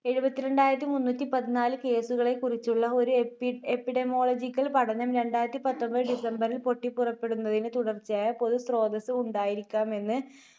എഴുപത്തിരണ്ടായിരത്തിമുന്നൂറ്റിപതിനാല് case കളെക്കുറിച്ചുള്ള ഒരു എപ്പി~ epidomological പഠനം രണ്ടായിരത്തിപത്തൊൻപത് December ൽ പൊട്ടിപുറപ്പെടുന്നതിന് തുടർച്ചയായ പൊതു സ്രോതസ് ഉണ്ടായിരിക്കാമെന്ന്